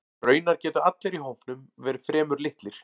Raunar gætu allir í hópnum verið fremur litlir.